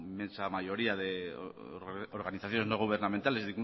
inmensa mayoría de organizaciones no gubernamentales